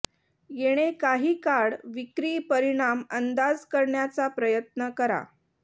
येणे काही काळ विक्री परिणाम अंदाज करण्याचा प्रयत्न करा